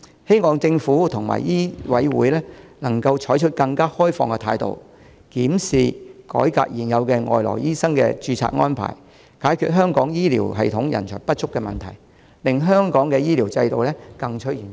希望政府及香港醫務委員會能採取更開放的態度，檢視及改革現有的外來醫生的註冊安排，解決香港醫療系統人手不足的問題，令香港的醫療制度更趨完善。